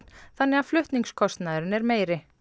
þannig að flutningskostnaðurinn er meiri